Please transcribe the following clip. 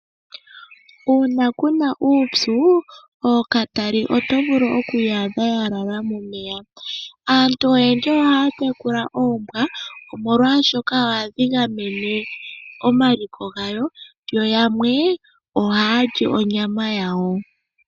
Uuna kuna uupyu ookatali oto vulu oku ya adha ya lala momeya. Aantu oyendji ohaya tekula oombwa molwashoka ohadhi gamene omaliko gawo, yo yamwe ohaya li onyama yawo.